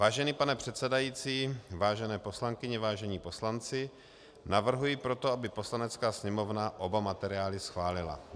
Vážený pane předsedající, vážené poslankyně, vážení poslanci, navrhuji proto, aby Poslanecká sněmovna oba materiály schválila.